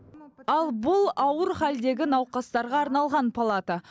ал бұл ауыр халдегі науқастарға арналған палата